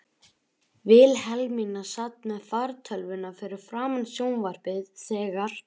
Vilhelmína sat með fartölvuna fyrir framan sjónvarpið þegar